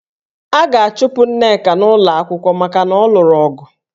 A ga-achụpụ Nneka n'ụlọ akwụkwọ maka na ọ lụrụ ọgụ